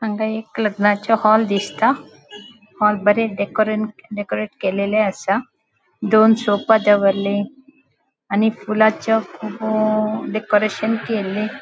हांगा एक लग्नाचे हॉल दिसता हॉल डेकोरें डेकोरेंट केल्लेले आसा दोन सोफ़ा दवरले आणि फुलांचो कुब डेकोरेंशन केल्ले --